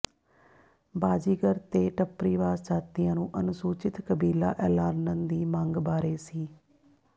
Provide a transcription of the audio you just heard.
ਬਾਜੀਗਰ ਤੇ ਟੱਪਰੀਵਾਸ ਜਾਤੀਆਂ ਨੂੰ ਅਨੁਸੂਚਿਤ ਕਬੀਲਾ ਐਲਾਨਣ ਦੀ ਮੰਗ ਬਾਰੇ ਸ